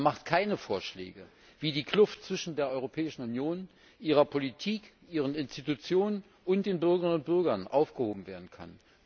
Er macht keine Vorschläge, wie die Kluft zwischen der Europäischen Union, ihrer Politik, ihren Institutionen und den Bürgerinnen und Bürgern aufgehoben werden kann.